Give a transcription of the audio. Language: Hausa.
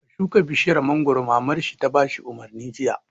Ka shuka bishiyar mangoro! Mamar shi ta bashi umarni jiya